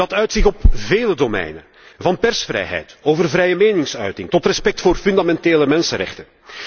Dat uit zich op vele domeinen van persvrijheid over vrije meningsuiting tot respect voor fundamentele mensenrechten.